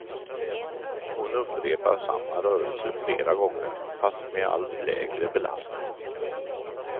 Hon upprepar samma rörelse flera gånger fast med allt lägre belastning.